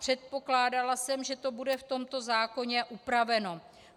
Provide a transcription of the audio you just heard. Předpokládala jsem, že to bude v tomto zákoně upraveno.